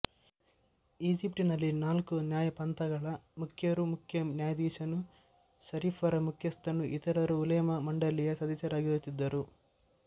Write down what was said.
ಈಜಿಪ್ಟಿನಲ್ಲಿ ನಾಲ್ಕು ನ್ಯಾಯಪಂಥಗಳ ಮುಖ್ಯರೂ ಮುಖ್ಯ ನ್ಯಾಯಾಧೀಶನೂ ಷರೀಫರ ಮುಖ್ಯಸ್ಥನೂ ಇತರರೂ ಉಲೇಮಾ ಮಂಡಲಿಯ ಸದಸ್ಯರಾಗಿರುತ್ತಿದ್ದರು